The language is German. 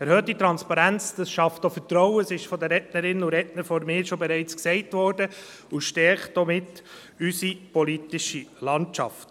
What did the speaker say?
Erhöhte Transparenz schafft auch Vertrauen – dies ist von den Rednerinnen und Rednern vor mir bereits gesagt worden – und stärkt somit auch unsere politische Landschaft.